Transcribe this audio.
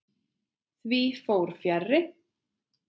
Því fór fjarri.